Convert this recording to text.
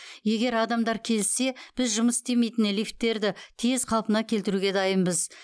егер адамдар келіссе біз жұмыс істемейтін лифттерді тез қалпына келтіруге дайынбыз